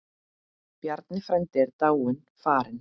Bjarni frændi er dáinn, farinn.